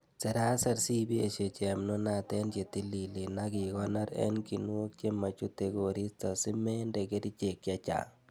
Seraser sibesie chepnunat en chetililen ak ikonor en kinuok chemochute koristo simende kerichek chechang'.